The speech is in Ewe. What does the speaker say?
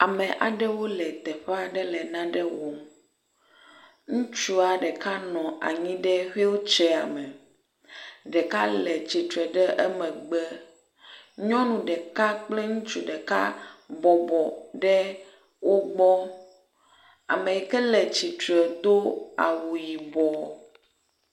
Ame aɖewo le teƒe aɖe le nane wɔm, ŋutsua ɖeka nɔ anyi ɖe xuiltseya me. Ɖeka le tsitre ɖe emegbe, nyɔnu ɖeka kple ŋutsu ɖeka bɔbɔ ɖe wo gbɔ. Ame yike le tsitre do awu yibɔ.